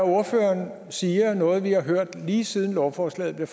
ordføreren siger noget vi har hørt lige siden lovforslaget blev